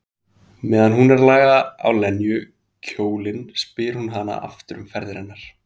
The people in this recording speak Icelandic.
Meðan hún er að laga á Lenu kjólinn spyr hún hana aftur um ferðir hennar.